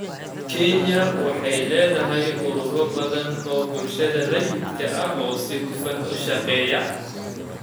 Kenya waxay leedahay ururo badan oo bulshada rayidka ah oo si hufan u shaqeeya.